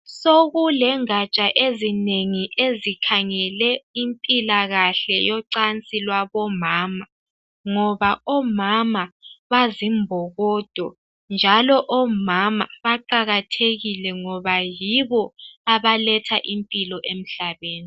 Sokulengatsha ezinengi ezikhangele impilakahle yocansi lwabomama ngoba omama bazimbokodo njalo omama baqakathekile ngoba yibo abaletha impilo emhlabeni.